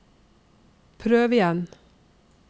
prøv igjen